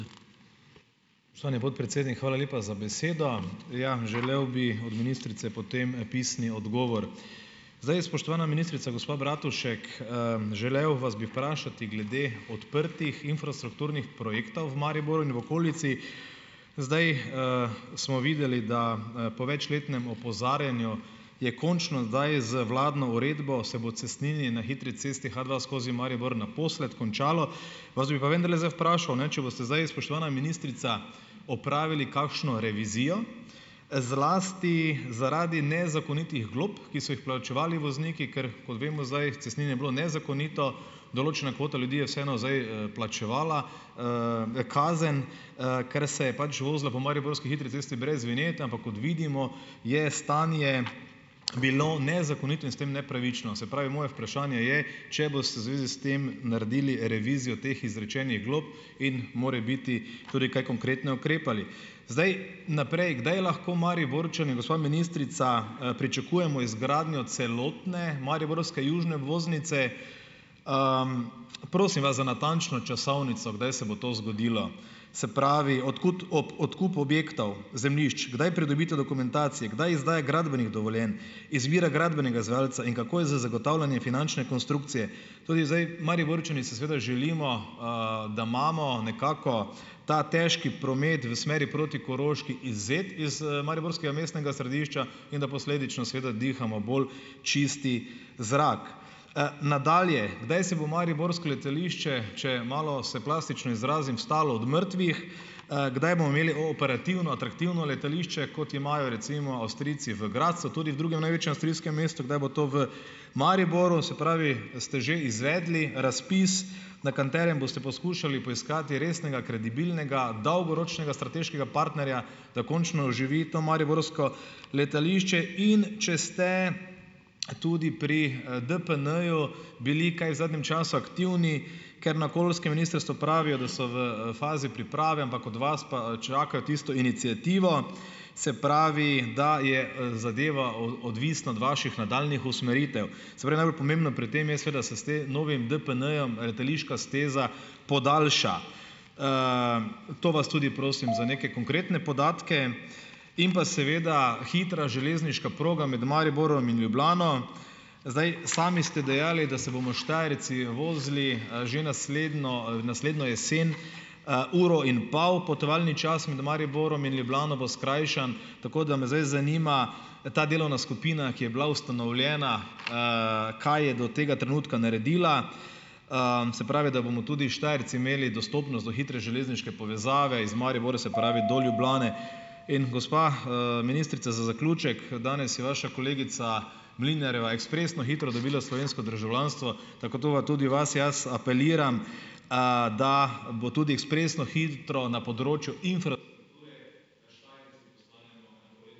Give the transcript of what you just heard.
Spoštovani podpredsednik, hvala lepa za besedo. Ja, želel bi od ministrice potem, pisni odgovor. Zdaj, spoštovana ministrica gospa Bratušek, želel vas bi vprašati glede odprtih infrastrukturnih projektov v Mariboru in v okolici. Zdaj, smo videli, da, po večletnem opozarjanju je končno zdaj z vladno uredbo se bo cestninjenje na hitri cesti H dva skozi Maribor naposled končalo. Vas bi pa vendarle zdaj vprašal, če boste zdaj, spoštovana ministrica, opravili kakšno revizijo, zlasti zaradi nezakonitih glob, ki so jih plačevali vozniki. Ker kot vemo zdaj, cestninjenje je bilo nezakonito, določena kvota ljudi je vseeno zdaj, plačevala, kazen, ker se je pač vozila po mariborski hitri cesti brez vinjete. Ampak kot vidimo, je stanje bilo nezakonito in s tem nepravično. Se pravi, moje vprašanje je, če boste v zvezi s tem naredili revizijo teh izrečenih glob in morebiti tudi kaj konkretno ukrepali? Zdaj, naprej, kdaj lahko Mariborčani, gospa ministrica, pričakujemo izgradnjo celotne mariborske južne obvoznice? prosim vas za natančno časovnico, kdaj se bo to zgodilo. Se pravi, odkup objektov, zemljišč - kdaj pridobitev dokumentacije? Kdaj izdaje gradbenih dovoljenj? Izbira gradbenega izvajalca in kako je z finančne konstrukcije? Tudi zdaj Mariborčani si seveda želimo, da imamo nekako ta težki promet v smeri proti Koroški izvzet iz, mariborskega mestnega središča in da posledično seveda dihamo bolj čist zrak. nadalje, kdaj se bo mariborsko letališče, če malo se plastično izrazim, vstalo od mrtvih? kdaj bomo imeli operativno, atraktivno letališče, kot imajo recimo Avstrijci v Gradcu, tudi v drugem največjem avstrijskem mestu, kdaj bo to v Mariboru? Se pravi, ste že izvedli razpis, na katerem boste poskušali poiskati resnega, kredibilnega, dolgoročnega strateškega partnerja, da končno oživi to mariborsko letališče? In če ste tudi pri, DPN-ju bili kaj v zadnjem času aktivni? Ker na okoljskem ministrstvu pravijo, da so v, fazi priprave, ampak od vas pa, čakajo tisto iniciativo, se pravi, da je, zadeva odvisna od vaših nadaljnjih usmeritev. Se pravi, najbolj pomembno pri tem je seveda, se s novim DPN-jem letališka steza podaljša. to vas tudi prosim za neke konkretne podatke. In pa seveda hitra železniška proga med Mariborom in Ljubljano. Zdaj, sami ste dejali, da se bomo Štajerci vozili, že naslednjo, naslednjo jesen, uro in pol, potovalni čas med Mariborom in Ljubljano bo skrajšan. Tako da me zdaj zanima, ta delovna skupina, ki je bila ustanovljena, kaj je do tega trenutka naredila? se pravi, da bomo tudi Štajerci imeli dostopnost do hitre železniške povezave iz Maribora, se pravi do Ljubljane. In gospa, ministrica, za zaključek, danes je vaša kolegica Mlinarjeva ekspresno hitro dobila slovensko državljanstvo, tako to tudi vas jaz apeliram, da bo tudi ekspresno hitro na področju infrastrukture.